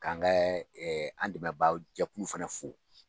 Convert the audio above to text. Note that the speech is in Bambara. K'an kɛ an dɛmɛbaa jɛkuluw fana fo.